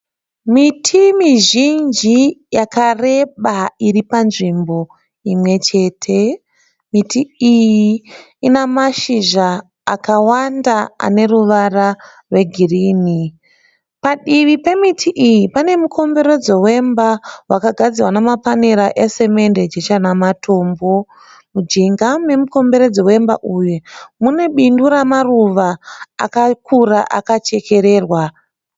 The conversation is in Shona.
Miti mizhinji yakareba iri panzvimbo imwe chete miti iyi Ina mashizha akawanda aneruvara rwegirini padivi pemiti iyi pane mukomberedzo wemba wakagadzirwa nemapanera esamende jecha namatombo mujinga memukomberodzo wemba iyi mune bindu ramaruva akakura akachekererwa